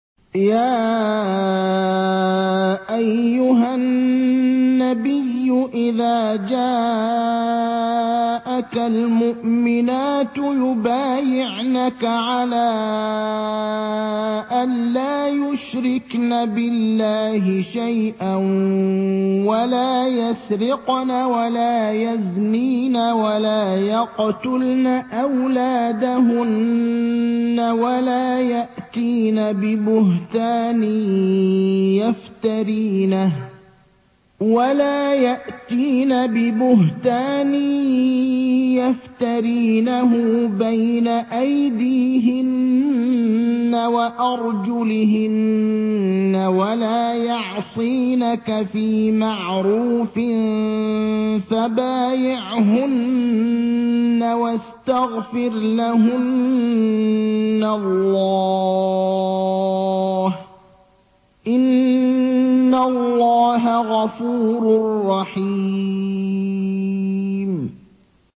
يَا أَيُّهَا النَّبِيُّ إِذَا جَاءَكَ الْمُؤْمِنَاتُ يُبَايِعْنَكَ عَلَىٰ أَن لَّا يُشْرِكْنَ بِاللَّهِ شَيْئًا وَلَا يَسْرِقْنَ وَلَا يَزْنِينَ وَلَا يَقْتُلْنَ أَوْلَادَهُنَّ وَلَا يَأْتِينَ بِبُهْتَانٍ يَفْتَرِينَهُ بَيْنَ أَيْدِيهِنَّ وَأَرْجُلِهِنَّ وَلَا يَعْصِينَكَ فِي مَعْرُوفٍ ۙ فَبَايِعْهُنَّ وَاسْتَغْفِرْ لَهُنَّ اللَّهَ ۖ إِنَّ اللَّهَ غَفُورٌ رَّحِيمٌ